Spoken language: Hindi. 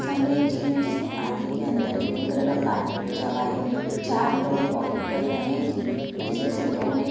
सामने एक जिम है जिसमें आधे के अन्दर ग्रीन कलर का कारपेट बिछा हुआ है। चार लोग वाकिंग कर रहे है जिन जिसमे से दो ने --